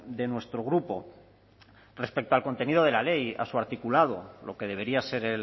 de nuestro grupo respecto al contenido de la ley a su articulado lo que debería ser